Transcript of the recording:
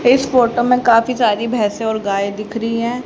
इस फोटो में काफी सारे भैंसे और गाय दिख रही हैं।